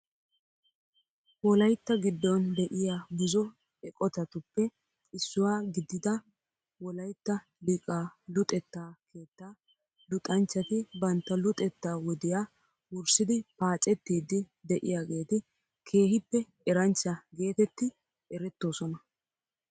Wolaytta giddon de'iyaa buzo eqotatuppe issuwaa gidida wolaytta liqaa luxetta keettaa luxxanchchati bantta luxxettaa wodiyaa wurssidi paacettiidi de'iyaageti keehippe eranchcha getetti erettoosona..